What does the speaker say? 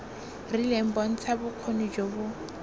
rileng bontsha bokgoni jo bo